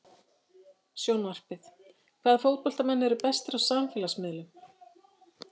Sjónvarpið: Hvaða fótboltamenn eru bestir á samfélagsmiðlum?